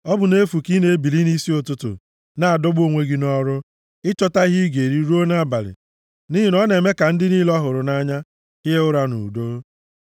Ọ bụ nʼefu ka ị na-ebili nʼisi ụtụtụ na-adọgbu onwe gị nʼọrụ ịchọta ihe ị ga-eri ruo nʼabalị, nʼihi na ọ na-eme ka ndị niile ọ hụrụ nʼanya hie ụra nʼudo.